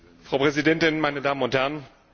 Frau Präsidentin, meine Damen und Herren!